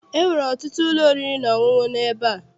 Enwere ọtụtụ ụlọ oriri na ọṅụṅụ n'ebe a.